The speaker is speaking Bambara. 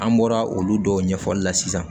An bɔra olu dɔw ɲɛfɔli la sisan